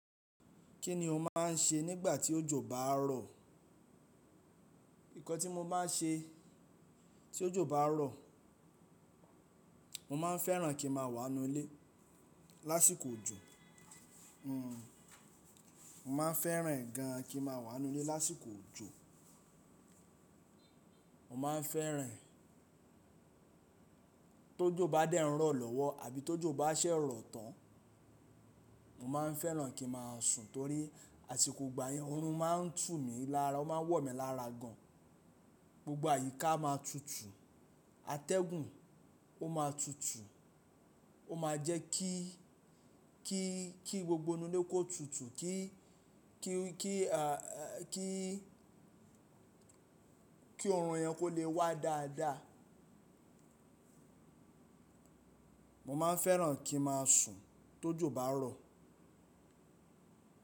Kí ni o máa ń ṣe nígbà tí òjò bá ń rọ̀? Ǹnkan tí mo maá n ṣe tí òjò bá ń rọ̀, mo máa ń fẹ́ràn kí n máa wà nínú ilé lásìkò òjò. Hmm, mo maá ń fẹ́ràn e gan an kí n máa wà nínú ilé lásìkò òjò. Mo maá ń fẹ́ràn tójó bá dẹ́ n rọ̀ lọ́wọ́ àbí tó jó bá ṣẹ́ rọ̀ tán. Mo má ń fẹ́ràn kí màá sùn torí àsìkò ìgbà yẹn oorun máa ń tú mi lára. Ó máa n wọ̀ mí lára gan an. Gbogbo àyíká a máa tutù. Atẹ́gùn ó máa tutù. Ó ma jẹ́ kí, kí, kí gbogbo inú ilé kó tutù kí, kí, kí, kí, kí oorun yẹn kó lè wá dáadáa. Mo maá ń fẹ́ràn kí màá sùn tó jó bá rọ̀.